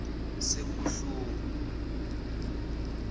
sekubuhlungu